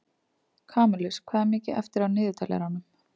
Kamilus, hvað er mikið eftir af niðurteljaranum?